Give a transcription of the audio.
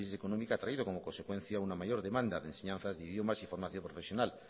de crisis económica ha traído como consecuencia una mayor demanda de enseñanzas de idiomas y formación profesional